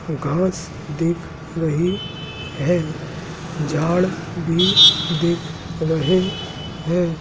घास दिख रही है झाड़ भी दिख रहे है।